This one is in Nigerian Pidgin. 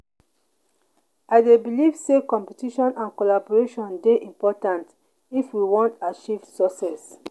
i dey believe say competition and collaboration dey important if we wan achieve success.